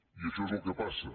i això és el que passa